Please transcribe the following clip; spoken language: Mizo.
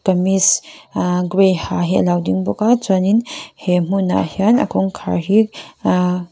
kamis aa grey ha hi alo ding bawk a chuanin he hmunah hian a kawngkhar hi aa--